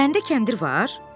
Səndə kəndir var?